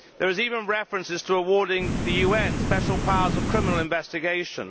There is even reference to awarding the UN special powers of criminal investigation.